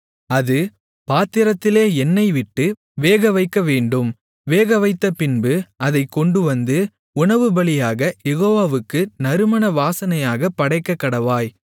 அது பாத்திரத்திலே எண்ணெய்விட்டு வேகவைக்கவேண்டும் வேகவைத்தபின்பு அதைக் கொண்டுவந்து உணவுபலியாக யெகோவாவுக்கு நறுமண வாசனையாகப் படைக்கக்கடவாய்